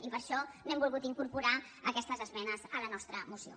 i per això no hem volgut incorporar aquestes esmenes a la nostra moció